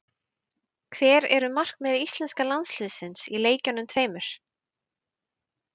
Hver eru markmið íslenska landsliðsins í leikjunum tveimur?